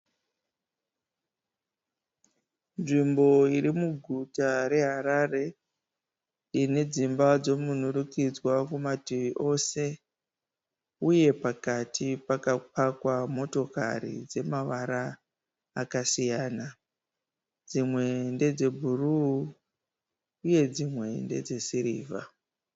Nzvimbo iri muguta reHarare. Ine dzimba dzemunhurikidzwa kumativi ose uye pakati pakapakwa motokari dzemavara akasiyana. Dzimwe ndedzebhuruu uye dzimwe ndedzesirivha.